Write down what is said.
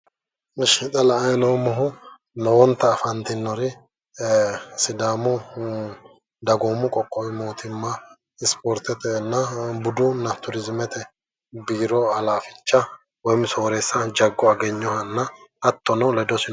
Isha xa la"ayi noommohu lowonta afantinore sidaamu dagoomu qoqqowi mootimma ispoortetenna budunna turiizimete biiro halaafichanna sooreessa ikkinoha Jago Agenyohanna hattono ledosi.